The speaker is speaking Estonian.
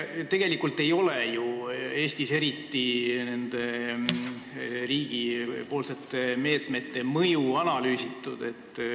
Tegelikult ei ole ju Eestis nende riigi meetmete mõju eriti analüüsitud.